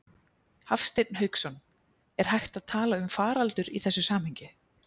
Hafsteinn Hauksson: Er hægt að tala um faraldur í þessu samhengi?